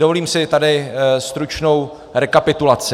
Dovolím si tady stručnou rekapitulaci.